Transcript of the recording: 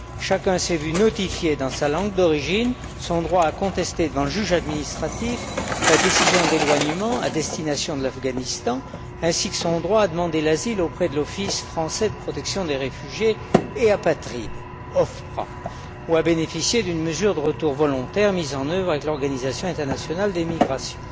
Chacun s'est vu notifier dans sa langue d'origine son droit à contester devant le juge administratif la décision d'éloignement à destination de l'Afghanistan ainsi que son droit à demander l'asile auprès de l'Office français de protection des réfugiés et apatrides ou à bénéficier d'une mesure de retour volontaire mise en œuvre avec l'Organisation internationale pour les migrations.